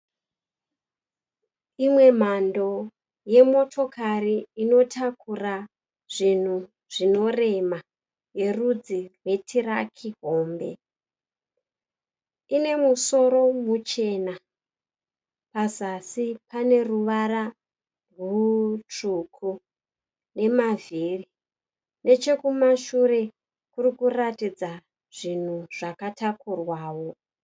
Imwe mhando yemotikari inotakura zvinhu zvinorema yerudzi rwetiraki hombe. Ine musoro muchena pazasi pane ruvara rutsvuku nemavhiri. Nechekumashure kuri kuratidza zvinhu zvakatakurwawo.